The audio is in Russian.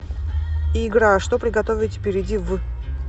игра что приготовить перейди в